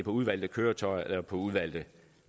udvalgte køretøjer eller på udvalgte